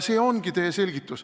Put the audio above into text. See ongi teile selgitus.